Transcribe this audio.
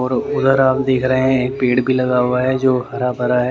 और उधर आप देख रहे हैं एक पेड़ भी लगा हुआ है जो हरा भरा ह--